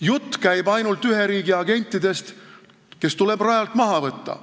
Jutt käib ainult ühe riigi agentidest, kes tuleb rajalt maha võtta.